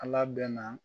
Ala bɛnna